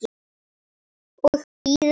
Og bíða.